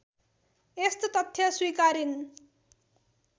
यस्तो तथ्य स्विकारिन्